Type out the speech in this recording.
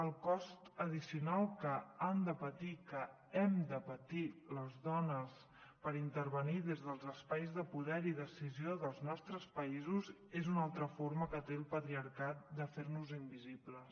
el cost addicional que han de patir que hem de patir les dones per intervenir des dels espais de poder i decisió dels nostres països és una altra forma que té el patriarcat de fer nos invisibles